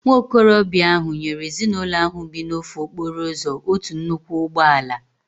Nwa okorobịa ahụ nyere ezinụlọ ahu bi n'ofe okporo ụzọ otu nnukwu ụgbọ ala